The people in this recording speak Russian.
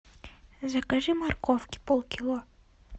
закажи морковки полкило